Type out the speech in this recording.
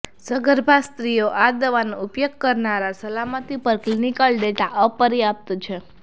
સગર્ભા સ્ત્રીઓ આ દવાનો ઉપયોગ કરનારા સલામતી પર ક્લિનિકલ ડેટા અપર્યાપ્ત છે